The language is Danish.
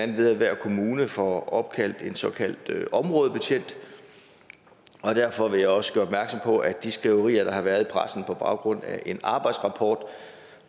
det ved at hver kommune får en såkaldt områdebetjent og derfor vil jeg også gøre opmærksom på at de skriverier der har været i pressen på baggrund af en arbejdsrapport